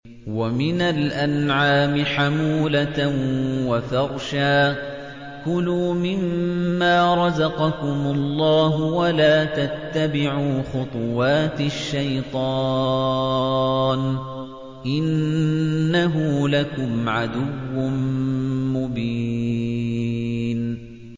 وَمِنَ الْأَنْعَامِ حَمُولَةً وَفَرْشًا ۚ كُلُوا مِمَّا رَزَقَكُمُ اللَّهُ وَلَا تَتَّبِعُوا خُطُوَاتِ الشَّيْطَانِ ۚ إِنَّهُ لَكُمْ عَدُوٌّ مُّبِينٌ